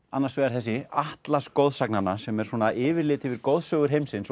annars vegar þessi atlas goðsagnanna sem er svona yfirlit yfir goðsögur heimsins